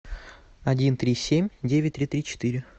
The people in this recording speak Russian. один три семь девять три три четыре